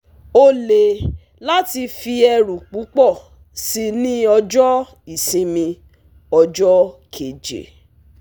Ó le láti fi ẹrù púpọ̀ sí ní ọjọ́ ìsinmi ọjọ́ keje